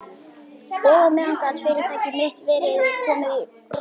Og á meðan gat fyrirtæki mitt verið komið í rúst.